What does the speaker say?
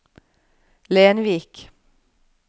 Lenvik